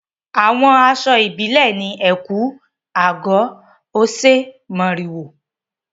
Àwọn aṣọ ìbílẹ̀ ni ẹ̀kú/àgọ̀, oṣé, mòrìwò.